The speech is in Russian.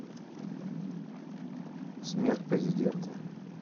смерть президента